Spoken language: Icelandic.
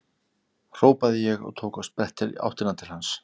hrópaði ég og tók á sprett í áttina til hans.